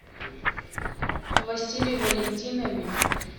василий валентинович